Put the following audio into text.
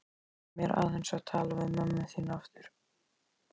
Leyfðu mér aðeins að tala við mömmu þína aftur.